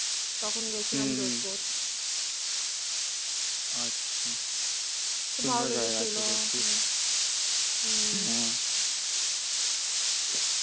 তখন গিয়েছিলাম হম Jodhpur, আচ্ছা হু খুব ভালো লেগে ছিল। হম